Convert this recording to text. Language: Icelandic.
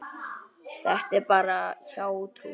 Þetta er bara hjátrú.